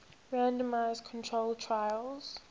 randomized controlled trials